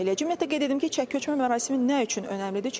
Ümumiyyətlə qeyd edim ki, çəki ölçmə mərasimi nə üçün önəmlidir?